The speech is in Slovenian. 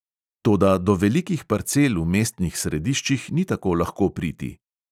Toda do velikih parcel v mestnih središčih ni tako lahko priti.